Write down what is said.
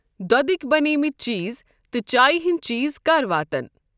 دۄدٕکؠ بَنیمٕتؠ چیٖز تہٕ چایہِ ہِنٛدؠ چیٖز کَر واتَن؟